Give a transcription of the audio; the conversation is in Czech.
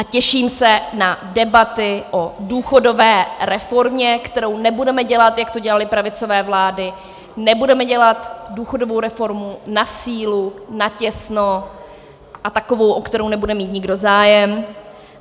A těším se na debaty o důchodové reformě, kterou nebudeme dělat, jak to dělaly pravicové vlády, nebudeme dělat důchodovou reformu na sílu, natěsno a takovou, o kterou nebude mít nikdo zájem.